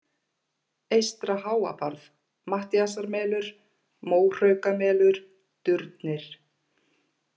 Eystra-Háabarð, Matthíasarmelur, Móhraukamelur, Durnir